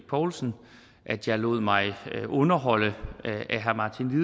poulsen at jeg lod mig underholde af herre martin